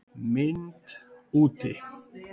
MYND úti